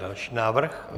Další návrh?